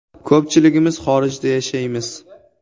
Ko‘pchiligimiz xorijda yashaymiz.